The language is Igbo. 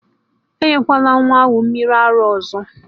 enyekwala nwa ahụ mmiri ara ọzọ!